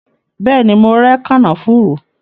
Bẹẹni, mo rẹ kànáfùrú